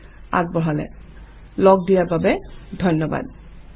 য়ে আগবঢ়ালে। লগ্ দিয়াৰ বাবে ধন্যবাদ।